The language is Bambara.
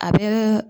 A bɛ